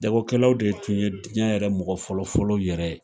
Jagokɛlaw de tun ye diɲɛ yɛrɛ mɔgɔ fɔlɔ fɔlɔ yɛrɛ ye.